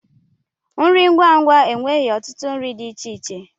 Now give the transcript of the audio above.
Nri ngwa ngwa aweghi otutu nri di ichie ichie.